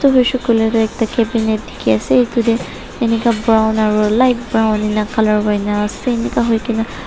edu hoishey koilae tu ekta cabinet dikhiase edu tae enika brown aro light brown ena colour hoina ase enika hoikaena.